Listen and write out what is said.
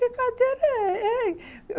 Brincadeira, é, é.